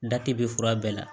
bɛ fura bɛɛ la